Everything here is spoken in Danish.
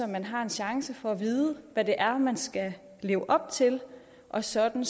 man har en chance for at vide hvad det er man skal leve op til og sådan